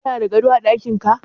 Kana da gado a daƙinka?